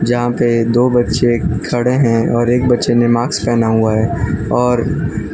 जहां पर दो बच्चे खड़े हैं और एक बच्चे ने मास्क पहना हुआ है और--